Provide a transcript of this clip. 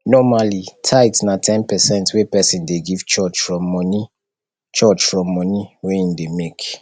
normally tithe na ten percent wey person dey give church from money church from money wey im dey make